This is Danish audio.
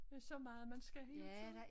Der så meget man skal hele tiden